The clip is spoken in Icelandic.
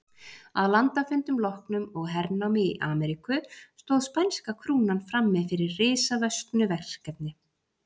Að landafundum loknum og hernámi í Ameríku stóð spænska krúnan frammi fyrir risavöxnu verkefni.